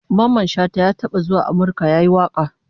Mamman Shata ya taba zuwa Amurka yayi waka